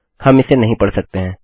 हम इसे नहीं पढ़ सकते हैं